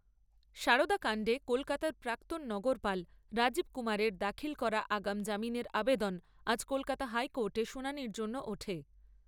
সারদা কান্ডে কলকাতার প্রাক্তন নগরপাল রাজীব কুমারের দাখিল করা আগাম জামিনের আবেদন আজ কলকাতা হাইকোর্টে শুনানির জন্য ওঠে।